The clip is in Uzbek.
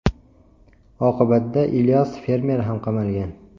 Oqibatda Ilyos fermer ham qamalgan.